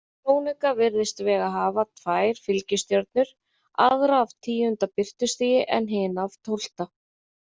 Í sjónauka virðist Vega hafa tvær fylgistjörnur, aðra af tíunda birtustigi en hina af tólfta.